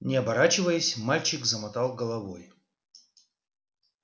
не оборачиваясь мальчик замотал головой